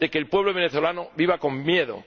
de que el pueblo venezolano viva con miedo.